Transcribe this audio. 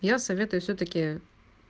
я советую всё-таки